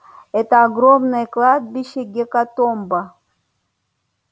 это огромное кладбище гекатомба